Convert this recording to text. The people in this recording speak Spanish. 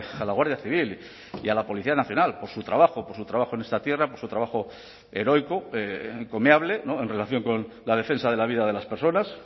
a la guardia civil y a la policía nacional por su trabajo por su trabajo en esta tierra por su trabajo heroico encomiable en relación con la defensa de la vida de las personas